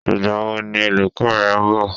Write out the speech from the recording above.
Ìgbà wo ni olùkọ́ rẹ ń bọ̀?